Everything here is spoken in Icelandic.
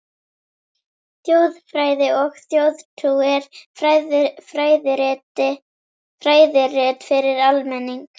ÞJÓÐFRÆÐI OG ÞJÓÐTRÚ er fræðirit fyrir almenning.